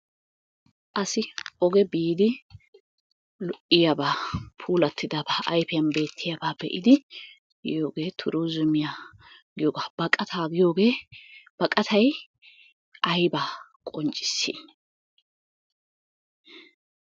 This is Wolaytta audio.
Asi oge biidi lo"iyaabaa pulattidabaa ayfiyan beettiyaabaa be"idi yiyoogee Turuuzumiya giyoogaa. Baqataa biyoogee baqatay aybaa qonccissii?